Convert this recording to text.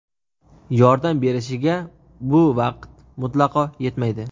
yordam berishiga bu vaqt mutlaqo yetmaydi.